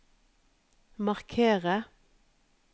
markere